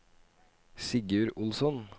Sigurd Olsson